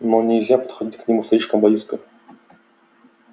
но нельзя подходить к нему слишком близко